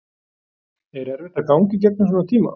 Er erfitt að ganga í gegnum svona tíma?